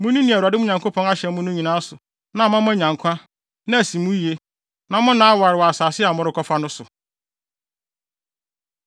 Munni nea Awurade, mo Nyankopɔn, ahyɛ mo no nyinaa so na ama moanya nkwa, na asi mo yiye, na no nna aware wɔ asase a morekɔfa no so.